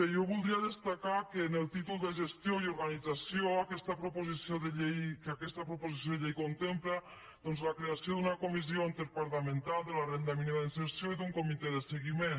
jo voldria destacar que en el títol de gestió i organització aquesta proposició de llei contempla doncs la creació d’una comissió interdepartamental de la renda mínima d’inserció i d’un comitè de seguiment